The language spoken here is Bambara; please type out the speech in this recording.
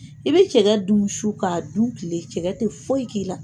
I bɛ cɛkɛ dun su k'a du tile, cɛkɛ tɛ foyi k'i la!